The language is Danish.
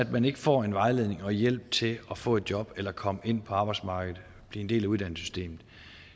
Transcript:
man ikke får vejledning og hjælp til at få et job eller komme ind på arbejdsmarkedet blive en del af uddannelsessystemet